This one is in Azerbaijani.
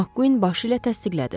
Makkuin başı ilə təsdiqlədi.